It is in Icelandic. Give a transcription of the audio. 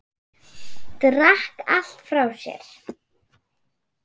Drakk allt frá sér.